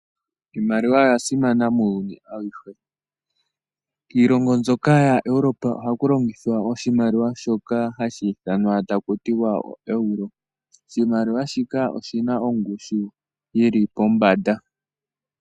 Iimaliwa oyasimana muuyuni awuhe. Kiilongo mbyoka yaEurope ohaku longithwa oshimaliwa shoka hashi ithanwa ta ku tiwa oEuro. Oshimaliwa shika oshina ongushu yili pombanda.